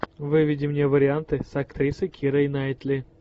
выведи мне варианты с актрисой кирой найтли